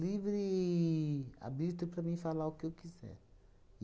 livre arbítrio para mim falar o que eu quiser.